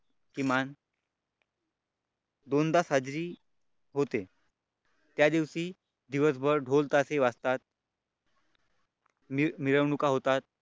किमान दोनदा साजरी होते त्या दिवशी दिवसभर ढोल ताशे वाजता मिरवणूक होतात.